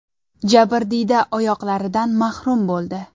Jabrdiyda oyoqlaridan mahrum bo‘ldi.